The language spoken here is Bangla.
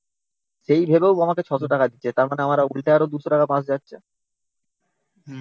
সেই ভেবেও ও আমাকে six hundred টাকা দিচ্ছে। তার মানে আমার উল্টে আরো two hundred টাকা বাঁশ যাচ্ছে।